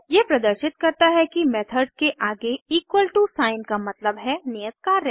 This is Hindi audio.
यह प्रदर्शित करता है कि मेथड के आगे इक्वल टू साइन का मतलब है नियत कार्य